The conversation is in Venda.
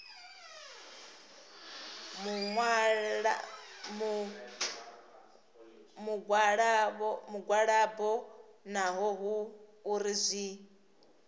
mugwalabo naho hu uri zwi